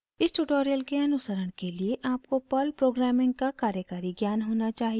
इस ट्यूटोरियल के अनुसरण के लिए आपको पर्ल प्रोग्रामिंग का कार्यकारी ज्ञान होना चाहिए